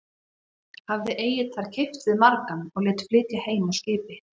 Hafði Egill þar keypt við margan og lét flytja heim á skipi.